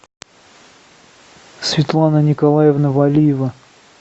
светлана николаевна валиева